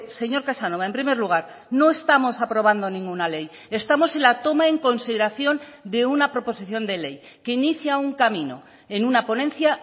señor casanova en primer lugar no estamos aprobando ninguna ley estamos en la toma en consideración de una proposición de ley que inicia un camino en una ponencia